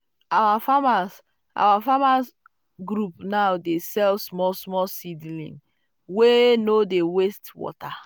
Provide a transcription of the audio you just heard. our farmers our farmers um group now dey sell small-small seedlings wey um no dey waste um water.